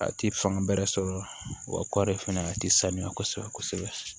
A ti fanga bɛrɛ sɔrɔ o la wa kɔɔri fɛnɛ a tɛ sanuya kosɛbɛ kosɛbɛ